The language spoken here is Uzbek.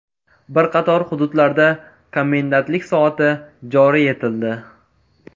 Bir qator hududlarda komendantlik soati joriy etildi.